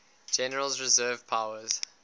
general's reserve powers